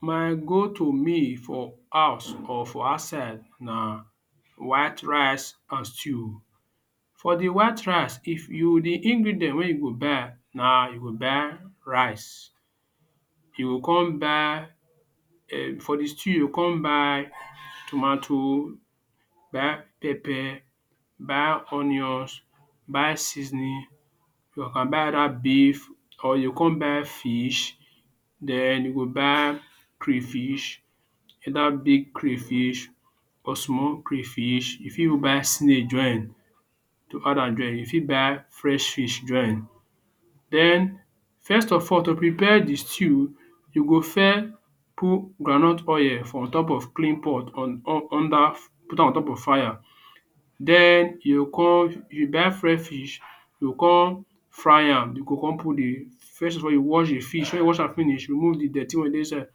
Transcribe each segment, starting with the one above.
My go to meal for house or for outside na white rice and stew for de white rice, if you de ingredient wey you go buy na you go buy rice. you go come buy for de stew you go come buy tomato buy pepper, buy onions, buy seasoning, you can buy either beef or you kuku buy fish, den you go buy crayfish whether big crayfish or small crayfish. you fit even buy snail join am to add am join. you fit but fresh fish join then first of all to prepare de stew, you go first put groundnut oil for on top of clean pot under, put am on top of fire then, you go come you buy fresh fish you go come fry am you go come put de first of all you wash de fish when you don wash am finish, you remove de dirty one wey dey inside.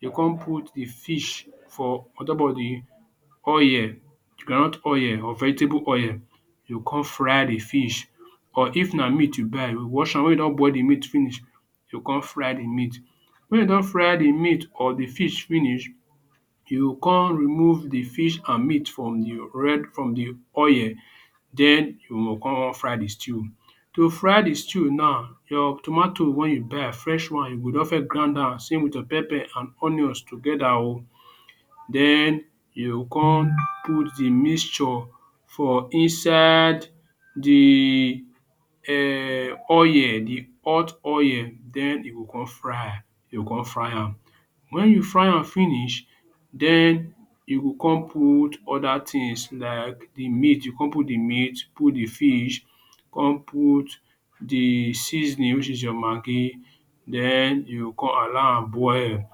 you come put de fish for on top of de oil de groundnut oil or vegetable oil you come fry de fish or if na meat you buy wash am. when you don boil de meat finish, you come fry de meat; when you don dry de meat or de fish finish, you come remove de meat and de fish from de red from de oil then you go come fry de stew. to fry de stew now, your tomato when you buy am fresh one, you go don first grind am same with your pepper and onions together oh. Then you go come put de mixture for inside de um oil de hot oil, then you go come fry, you go come fry am when you fry am finish, then you come put other things like de meat, you go con put de meat put de fish come put de seasoning which is your maggi then you come allow am boil.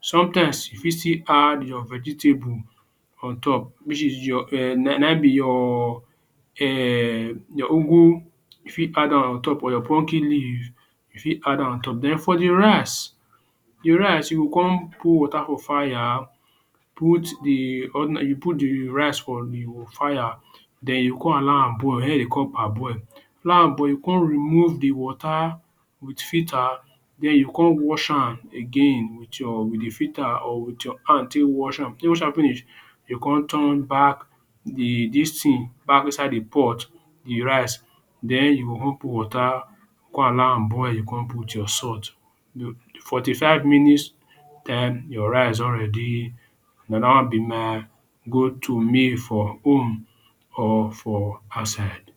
sometimes you fit still add your vegetable on top which is your na im be your um your ugwu. you fit add am on top or your pumpkin leaf you fit add am on top then for de rice de rice, you go come put water for fire put de, you put de rice for de fire then you come allow am boil. na im dem dey call parboil. now you come remove de water with filter then you come wash am again with your with de filter or with you hand take wash wash am. if you don wash am finish, you come turn back de this thing back inside de pot de rice then you go go put water, con allow am boil con put your salt 45minutes time your rice don ready. Na dat wan be my go to meal for home or for outside